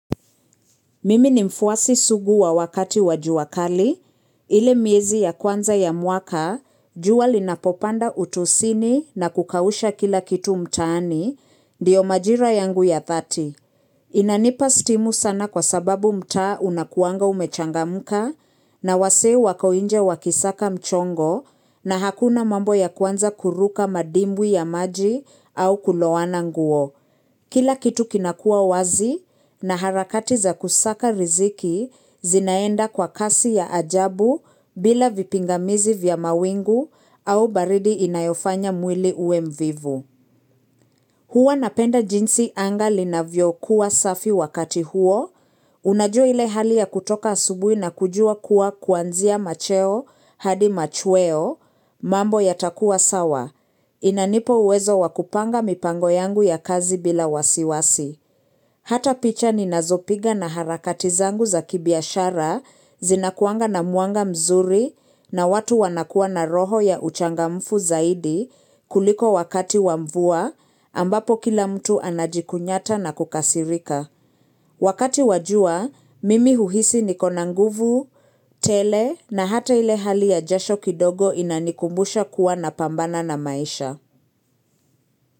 Mimi ni mfuasi sugu wa wakati wa jua kali, ile miezi ya kwanza ya mwaka, jua linapopanda utosini na kukausha kila kitu mtaani, ndiyo majira yangu ya dhati. Inanipa stimu sana kwa sababu mtaa unakuanga umechangamka na wazee wako nje wakisaka mchongo na hakuna mambo ya kwanza kuruka madimbwi ya maji au kulowana nguo. Kila kitu kinakua wazi na harakati za kusaka riziki zinaenda kwa kasi ya ajabu bila vipingamizi vya mawingu au baridi inayofanya mwili uwe mvivu. Huwa napenda jinsi anga linavyokuwa safi wakati huo, unajua ile hali ya kutoka asubuhi na kujua kuwa kuanzia macheo hadi machweo, mambo yatakua sawa, inanipa uwezo wa kupanga mipango yangu ya kazi bila wasiwasi. Hata picha ninazopiga na harakati zangu za kibiashara zinakuanga na mwanga mzuri na watu wanakuwa na roho ya uchangamfu zaidi kuliko wakati wa mvua ambapo kila mtu anajikunyata na kukasirika. Wakati wa jua, mimi huhisi niko na nguvu, tele na hata ile hali ya jasho kidogo inanikumbusha kuwa napambana na maisha.